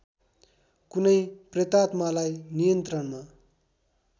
कुनै प्रेतात्मालाई नियन्त्रणमा